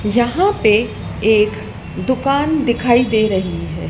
यहां पे एक दुकान दिखाई दे रही है।